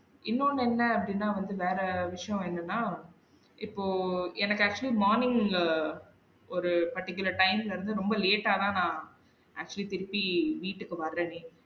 இன்னொன்னு என்ன அப்டின்னா வந்து வேற விஷயம் என்னென்னா இப்போ எனக்கு actually morning ஒரு particular time ல இருந்து ரொம்ப late ஆனா நா actually திருப்பி வீட்டுக்கு வறனே